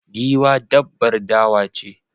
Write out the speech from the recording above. Giwa dabbar dawa ce